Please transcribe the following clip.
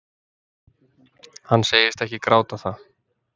Hann segist ekki gráta það